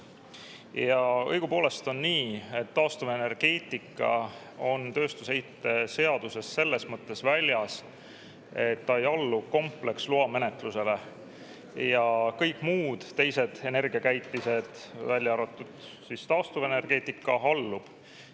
Ja õigupoolest on nii, et taastuvenergeetika on tööstusheite seadusest selles mõttes väljas, et ta ei allu kompleksloa menetlusele, ja kõik muud, teised energiakäitised, välja arvatud taastuvenergeetika, alluvad.